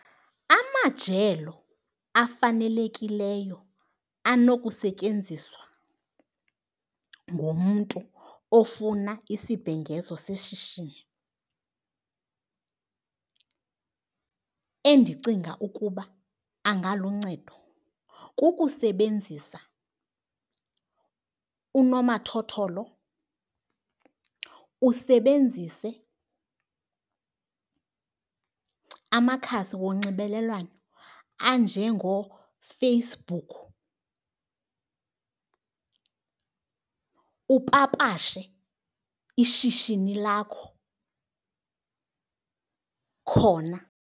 Amajelo afanelekileyo anokusetyenziswa ngumntu ofuna isibhengezo seshishini endicinga ukuba angaluncedo kukusebenzisa unomathotholo, usebenzise amakhasi wonxibelelwano anjengooFacebook upapashe ishishini lakho khona.